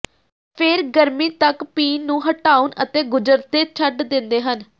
ਫਿਰ ਗਰਮੀ ਤੱਕ ਪੀਣ ਨੂੰ ਹਟਾਉਣ ਅਤੇ ਗੁਜ਼ਰਦੇ ਛੱਡ ਦਿੰਦੇ ਹਨ